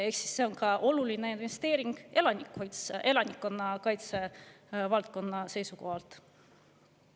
Ehk siis see on oluline investeering ka elanikkonnakaitse valdkonna seisukohalt.